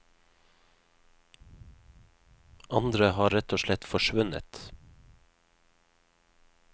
Andre har rett og slett forsvunnet.